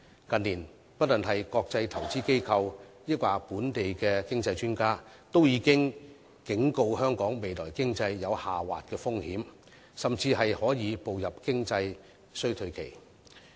近年，無論是國際投資機構或本地經濟專家，均已警告香港未來的經濟將有下滑的風險，甚至會步入經濟衰退期。